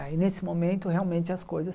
Aí, neste momento, realmente as coisas...